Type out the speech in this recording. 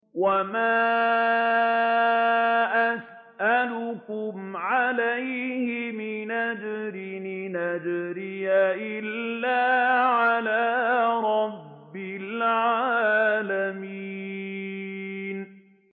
وَمَا أَسْأَلُكُمْ عَلَيْهِ مِنْ أَجْرٍ ۖ إِنْ أَجْرِيَ إِلَّا عَلَىٰ رَبِّ الْعَالَمِينَ